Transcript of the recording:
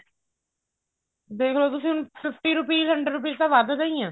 ਦੇਖਲੋ ਤੁਸੀਂ ਹੁਣ fifty rupees hundred rupees ਤਾਂ ਵਧਦੇ ਹੀ ਆਂ